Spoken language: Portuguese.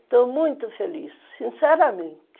Estou muito feliz, sinceramente.